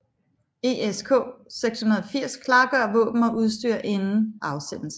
ESK 680 klargør våben og udstyr inden afsendelse